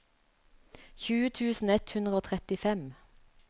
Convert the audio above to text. tjue tusen ett hundre og trettifem